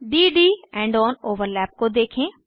d D end on overlap को देखें